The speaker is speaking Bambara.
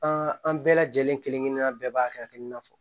an bɛɛ lajɛlen kelen kelenna bɛɛ b'a hakilina fɔ